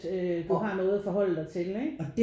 Øh du har noget at forholde dig til ikke